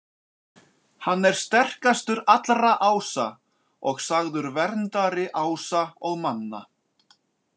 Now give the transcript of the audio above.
Hann er sterkastur allra ása og sagður verndari ása og manna.